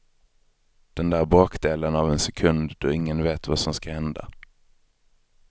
Den där bråkdelen av en sekund då ingen vet vad som ska hända.